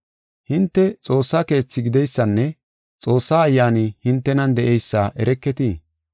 Hinte Xoossa keethi gideysanne Xoossa Ayyaani hintenan de7eysa ereketii?